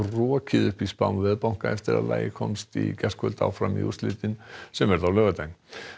rokið upp í spám veðbanka eftir að lagið komst í gærkvöld áfram í úrslitin sem verða á laugardaginn